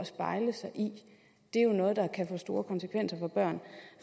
spejle sig i det er jo noget der kan få store konsekvenser for børn